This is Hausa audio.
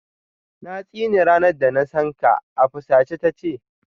Na tsine ranar da na san ka, a fusace ta ce.